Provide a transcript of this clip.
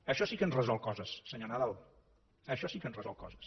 això sí que ens resol coses senyor nadal això sí que ens resol coses